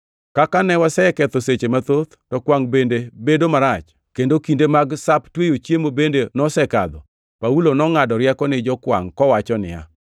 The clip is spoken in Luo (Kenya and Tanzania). Kaka koro ne waseketho seche mathoth, to kwangʼ bende bedo marach, kendo kinde mag Sap Tweyo Chiemo bende nosekadho, Paulo nongʼado rieko ni jokwangʼ kowacho niya,